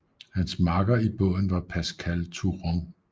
Hans makker i båden var Pascal Touron